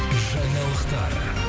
жаңалықтар